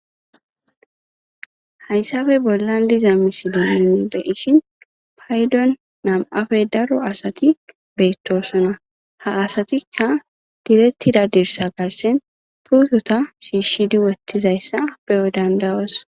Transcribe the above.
hayssafe bollandiza misideninne be ishin paydon nam7afe daro asati beettosona ha asatikka direttida dirsa garsen puutota shiishshidi wottizayssa beyo dandayos